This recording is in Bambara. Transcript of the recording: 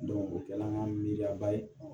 o kɛl'an ka miiriyaba ye